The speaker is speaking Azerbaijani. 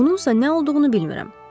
Bununsa nə olduğunu bilmirəm.